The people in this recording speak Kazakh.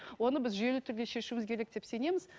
оны біз жүйелі түрде шешуіміз керек деп сенеміз